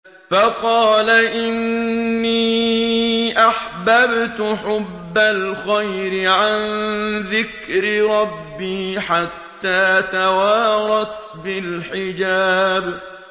فَقَالَ إِنِّي أَحْبَبْتُ حُبَّ الْخَيْرِ عَن ذِكْرِ رَبِّي حَتَّىٰ تَوَارَتْ بِالْحِجَابِ